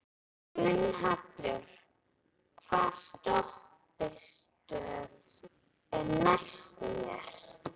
Gunnhallur, hvaða stoppistöð er næst mér?